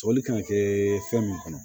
Sɔrɔli kan ka kɛ fɛn min kɔnɔ